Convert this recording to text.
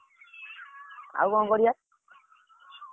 ଆଉ କଣ କରିଆ?